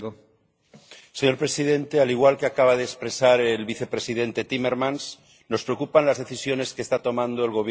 Señor presidente, al igual que acaba de expresar el vicepresidente Timmermans, nos preocupan las decisiones que está tomando el Gobierno rumano.